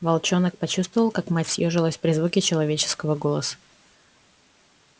волчонок почувствовал как мать съёжилась при звуке человеческого голоса